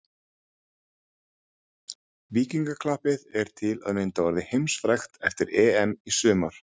Víkingaklappið er til að mynda orðið heimsfrægt eftir EM í sumar.